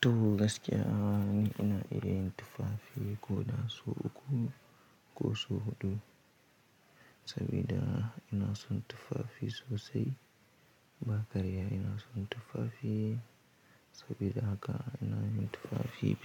Toh gaskiya ni ina yin tufafi ko da so uku ko so huɗu sabida ina son tufafi sosai ba karya ina son tufafi sabida haka ina yin tufafi.